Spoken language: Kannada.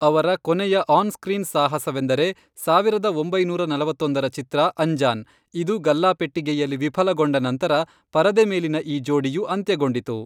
ಅವರ ಕೊನೆಯ ಆನ್ ಸ್ಕ್ರೀನ್ ಸಾಹಸವೆಂದರೆ, ಸಾವಿರದ ಒಂಬೈನೂರ ನಲವತ್ತೊಂದರ ಚಿತ್ರ, ಅಂಜಾನ್, ಇದು ಗಲ್ಲಾಪೆಟ್ಟಿಗೆಯಲ್ಲಿ ವಿಫಲಗೊಂಡ ನಂತರ ಪರದೆ ಮೇಲಿನ ಈ ಜೋಡಿಯು ಅಂತ್ಯಗೊಂಡಿತು.